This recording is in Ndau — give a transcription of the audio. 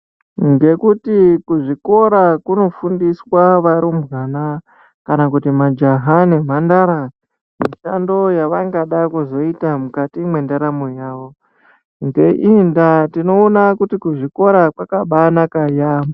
Ngekuti kuzvikora kunofundiswa varumbwana kana kuti majaha nemhandara mushando yavangada kuzoita mukati mwendaramo yavo ngeii ndaa tinoona kuti kuzvikora kwakabaanaka yaambo.